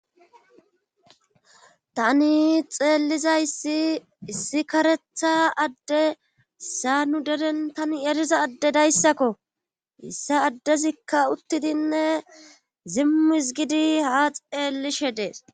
tani xeellizayssi issi karetha adde sa nu deren tani eriza adde dayssakko issa addezikka uttidinne zimmis gidi ha xeellishe dees